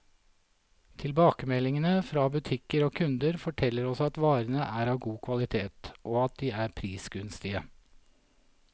Tilbakemeldingene fra butikker og kunder, forteller oss at varene er av god kvalitet, og at de er prisgunstige.